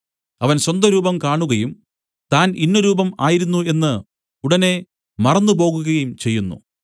അവൻ സ്വന്തരൂപം കാണുകയും താൻ ഇന്ന രൂപം ആയിരുന്നു എന്ന് ഉടനെ മറന്നുപോകുകയും ചെയ്യുന്നു